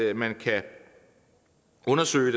at man kan undersøge